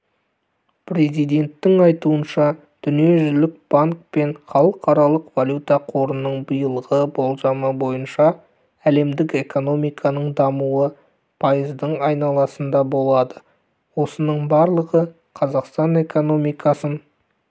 президенттің айтуынша дүниежүзілік банк пен халықаралық валюта қорының биылғы болжамы бойынша әлемдік экономиканың дамуы пайыздың айналасында болады осының барлығы қазақстан экономикасын